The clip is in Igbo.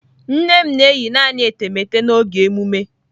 Nne m na-eyi naanị etemeete n'oge emume.